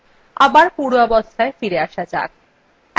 আবার পূর্বাবস্থায় ফিরে আসা যাক